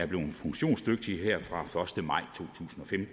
bliver funktionsdygtigt her fra